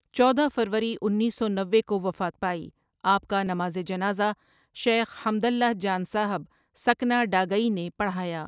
چودہ فروری انیس سو نوے کووفات پائی آپ کانمازجنازہ شیخ حمداللہ جان صاحب سکنہ ڈاگئی نے پڑھایا ۔